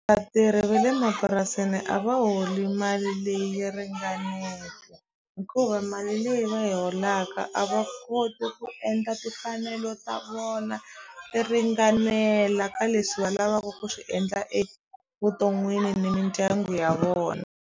Vatirhi ve le mapurasini a va holi mali leyi yi hikuva mali leyi va yi holaka a va koti ku endla timfanelo ta vona ti ringanela ka leswi va lavaku ku swi endla evuton'wini ni mindyangu ya vona.